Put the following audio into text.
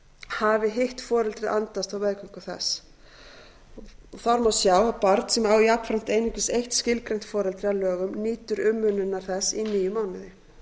hafi hitt foreldrið andast á meðgöngu þess þar má sjá að barn sem á jafnframt einungis eitt skilgreint foreldri að lögum nýtur umönnunar þess í níu mánuði